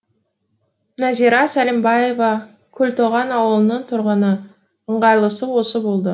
назира сәлімбаева көлтоған ауылының тұрғыны ыңғайлысы осы болды